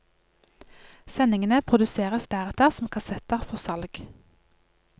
Sendingene produseres deretter som kassetter for salg.